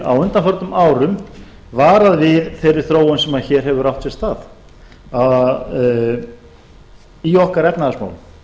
á undanförnum árum varað við þeirri þróun sem hér hefur átt sér stað í okkar efnahagsmálum